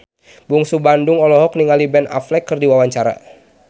Bungsu Bandung olohok ningali Ben Affleck keur diwawancara